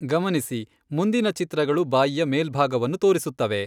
ಗಮನಿಸಿ ಮುಂದಿನ ಚಿತ್ರಗಳು ಬಾಯಿಯ ಮೇಲ್ಭಾಗವನ್ನು ತೋರಿಸುತ್ತವೆ.